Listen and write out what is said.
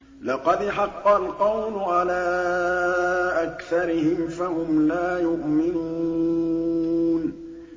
لَقَدْ حَقَّ الْقَوْلُ عَلَىٰ أَكْثَرِهِمْ فَهُمْ لَا يُؤْمِنُونَ